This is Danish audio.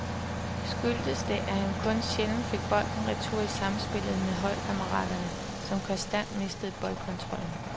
Skyldtes det, at han kun sjældent fik bolden retur i samspillet med holdkammeraterne, som konstant mistede boldkontrollen.